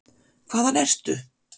Hvaðan ertu?